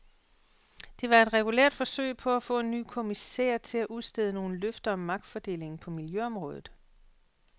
Det var et regulært forsøg på at få en ny kommissær til at udstede nogle løfter om magtfordelingen på miljøområdet.